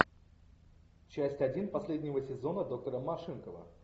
часть один последнего сезона доктора машинкова